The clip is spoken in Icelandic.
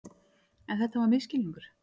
En þetta var misskilningur.